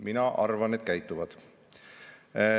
Mina arvan, et käituvad.